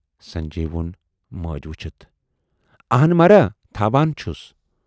"سنجے وون مٲج وُچھِتھ"آہَن مہارا تھوان چھُس